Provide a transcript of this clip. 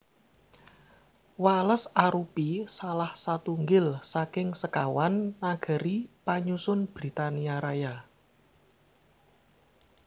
Wales arupi salah satunggil saking sekawan nagari panyusun Britania Raya